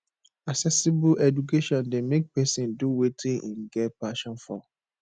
accessible education de make persin do wetin im get passion for